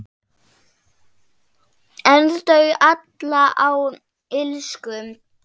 En þau ala á illsku.